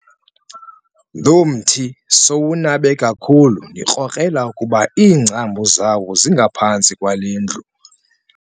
Lo mthi sowunabe kakhulu ndikrokrela ukuba iingcambu zawo zingaphantsi kwale ndlu.